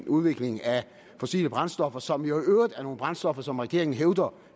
udvikling af fossile brændstoffer som jo i øvrigt er nogle brændstoffer som regeringen hævder